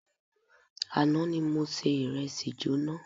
Àná ni se ìrẹsì jóná.